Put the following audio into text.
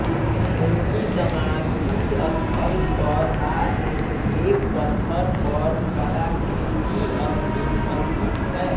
उनकी समाधि स्थल पर आज भी एक पत्थर पर कलाकृति अंकित अंकित है